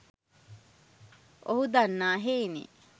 ඔහු දන්නා හෙයිනි.